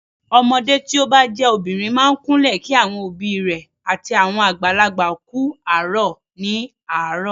Ọmọdé tí o bá jẹ́ obìnrin máa ń kúnlẹ̀ kí àwọn òbí rẹ̀ àti àwọn àgbàlagbà kú àárọ̀ ní àárọ̀.